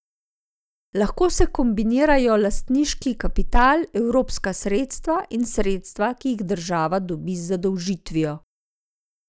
Lahko se kombinirajo lastniški kapital, evropska sredstva in sredstva, ki jih država dobi z zadolžitvijo.